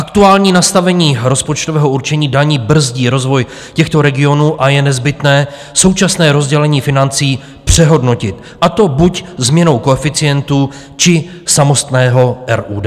Aktuální nastavení rozpočtového určení daní brzdí rozvoj těchto regionů a je nezbytné současné rozdělení financí přehodnotit, a to buď změnou koeficientů, či samotného RUD.